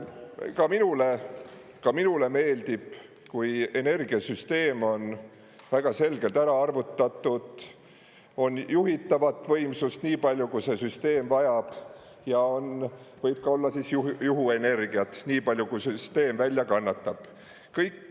Ka minule ka minule meeldib, kui energiasüsteem on väga selgelt ära arvutatud, on juhitavat võimsust nii palju, kui see süsteem vajab ja võib olla ka juhuenergiat nii palju, kui see süsteem välja kannatab.